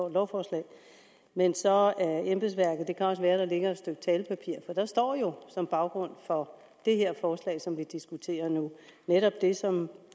et lovforslag men så af embedsværket og det kan også være at der ligger et stykke talepapir for der står jo som baggrund for det her forslag som vi diskuterer nu netop det som